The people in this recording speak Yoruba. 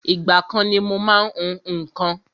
Ìgbà kan ni mo má ń hún nǹkan